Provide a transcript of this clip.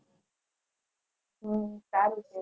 હમ